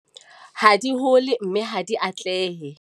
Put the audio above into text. ha di hole, mme ha di atlehe.